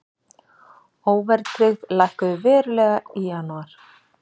Óverðtryggð lækkuðu verulega í janúar